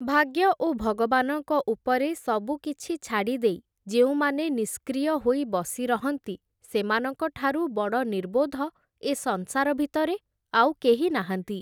ଭାଗ୍ୟ ଓ ଭଗବାନଙ୍କ ଉପରେ ସବୁକିଛି ଛାଡ଼ିଦେଇ, ଯେଉଁମାନେ ନିଷ୍କ୍ରିୟ ହୋଇ ବସି ରହନ୍ତି, ସେମାନଙ୍କଠାରୁ ବଡ଼ ନିର୍ବୋଧ ଏ ସଂସାର ଭିତରେ ଆଉ କେହି ନାହାନ୍ତି।